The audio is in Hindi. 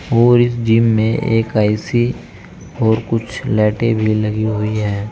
और इस जिम में एक ए_सी और कुछ लाइटे भी लगी हुई है।